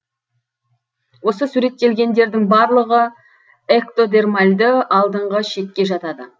осы суреттелгендердің барлығы эктодермальді алдыңғы ішекке жатады